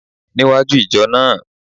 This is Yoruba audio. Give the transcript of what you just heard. Níwájú ìjọ náà